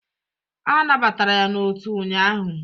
A nabatara ya n'otu ụnyaahụ